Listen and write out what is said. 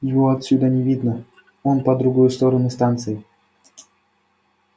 его отсюда не видно он по другую сторону станции